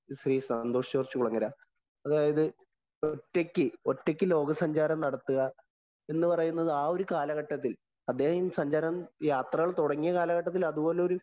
ശ്രീ സന്തോഷ്‌ ജോര്‍ജ്ജ് കുളങ്ങര, അതായത് ഒറ്റക്ക് ഒറ്റക്ക് ലോകസഞ്ചാരം നടത്തുക എന്ന് പറയുന്നത് ആ ഒരു കാലഘട്ടത്തില്‍ അദ്ദേഹം സഞ്ചാരം യാത്രകള്‍ തൊടങ്ങിയ കാലഘട്ടത്തില്‍ അതുപോലൊരു